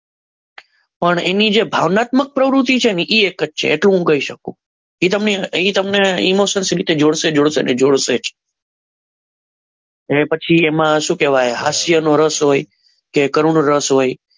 પણ એની જે ભાવનાત્મક પ્રવૃત્તિ છે ને એ એક જ છે એટલું હું કહી શકું એ તમને એ તમને ઈમોશન વિશે ઈમોશન્સ વિશે જોડ છે જ અને પછી એમાં શું કહેવાય હાસ્યનો રસ હોય છે કરુણ રસ હોય છે.